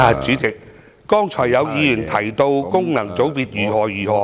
主席，剛才有議員談論功能界別如何如何......